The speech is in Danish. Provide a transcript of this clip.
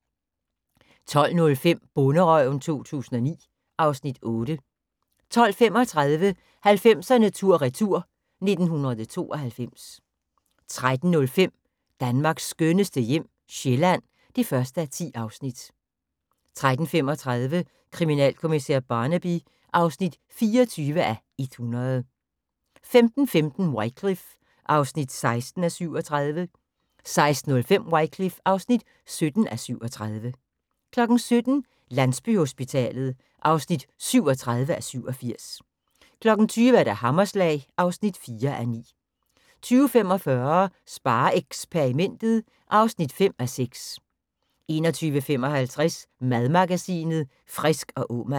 12:05: Bonderøven 2009 (Afs. 8) 12:35: 90'erne tur retur: 1992 13:05: Danmarks skønneste hjem - Sjælland (1:10) 13:35: Kriminalkommissær Barnaby (24:100) 15:15: Wycliffe (16:37) 16:05: Wycliffe (17:37) 17:00: Landsbyhospitalet (37:87) 20:00: Hammerslag (4:9) 20:45: SpareXperimentet (5:6) 21:55: Madmagasinet Frisk & Aamann